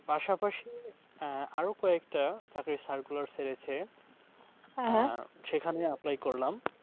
পাশাপাশি আহ আরো কয়েকটা চাকরির circular ছেড়েছে, সেখানে apply করলাম।